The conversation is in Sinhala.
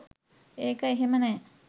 ඒක එහෙම නෑ